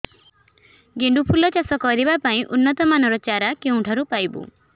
ଗେଣ୍ଡୁ ଫୁଲ ଚାଷ କରିବା ପାଇଁ ଉନ୍ନତ ମାନର ଚାରା କେଉଁଠାରୁ ପାଇବୁ